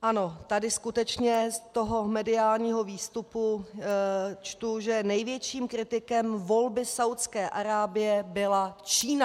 Ano, tady skutečně z toho mediálního výstupu čtu, že největším kritikem volby Saúdské Arábie byla Čína.